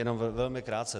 Jenom velmi krátce.